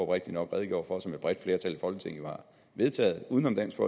rigtigt nok redegjorde for og som et bredt flertal i folketinget har vedtaget uden om dansk